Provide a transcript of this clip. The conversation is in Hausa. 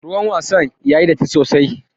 Ruwan wasan yayi datti sosai.